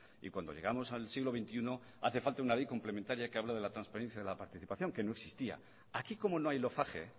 y cuando llegamos al siglo veintiuno hace falta una ley complementaría que habla de la transparencia y de la participación que no existía aquí como no hay lofage